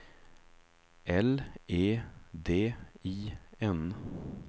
L E D I N